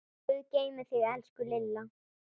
Guð geymi þig, elsku Lilla.